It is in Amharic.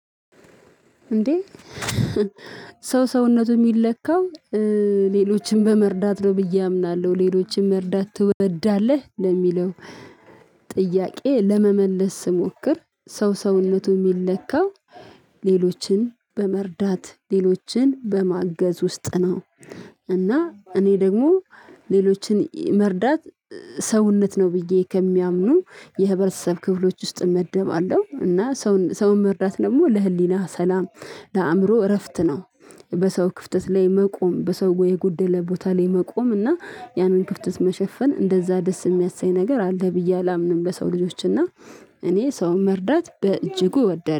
እንዴ ሰው ሰውነቱ የሚለካው ሌሎችንም በመርዳት ነው ብዬ አምናለሁ ሌሎችን መርዳት ትወዳለህ ለሚለው ጥያቄ ለመመለስ ስሞክር ሰው ሰውነቱ የሚለካው ሌሎችን በመርዳት ሌሎችን በማገዝ ውስጥ ነው። እና እኔ ደግሞ ሌሎችን መርዳት ሰውነት ነው ብዬ ከሚያምኑ የህብረተሰብ ክፍሎች ውስጥ እመደባለው እና ሰውን መርዳት ደግሞ ለህሊና ሰላም ለአእምሮ እረፍት ነው። በሰው ክፍተት ላይ መቆም በሰው የጎደለ ቦታ ላይ መቆም እና ያንን ክፍተት መሸፈን እንደዛ ደስ የሚያሰኝ ነገር አለ ብዬ አላምንም ለሰው ልጆች እና እኔ ሰው መርዳት በእጅጉ ወደር